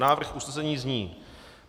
Návrh usnesení zní: